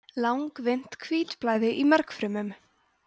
langvinnt hvítblæði í mergfrumum